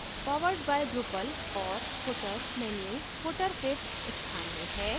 powered by drupal और footer menu footer fifth स्थान में है